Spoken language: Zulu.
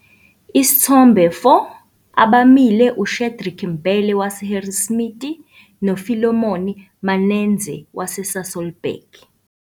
Isithombe 4- Abemile uShadrack Mbele waseHarrismith noPhilemon Manenzhe waseSasolburg.